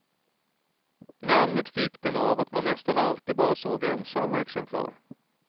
Namnet fick den av att man nästan alltid bara såg ensamma exemplar.